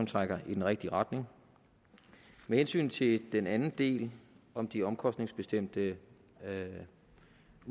trækker i den rigtige retning med hensyn til den anden del om de omkostningsbestemte